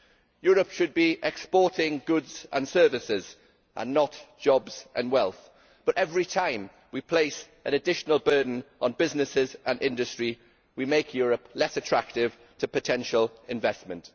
Europe should be exporting goods and services, not jobs and wealth, but every time we place an additional burden on businesses and industry, we make Europe less attractive to potential investment.